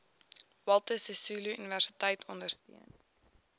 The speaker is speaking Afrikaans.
walter sisuluuniversiteit ondersteun